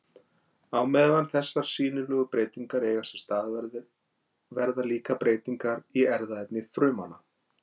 Á meðan þessar sýnilegu breytingar eiga sér stað verða líka breytingar í erfðaefni frumanna.